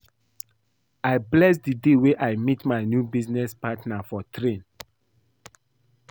I bless the day wey I meet my new business partner for train